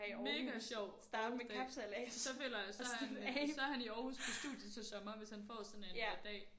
Mega sjovt det så føler jeg så er han så er han i Aarhus til studie til sommer hvis han får sådan en dag